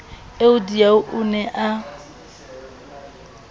eo diau o ne a